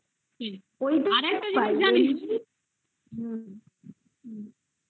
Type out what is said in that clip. ping